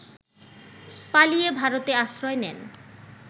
পালিয়ে ভারতে আশ্রয় নেন